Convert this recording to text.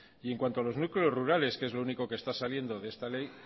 y en cuanto a los núcleos rurales que es lo único que está saliendo de esta ley